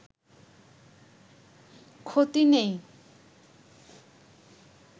ক্ষতি নেই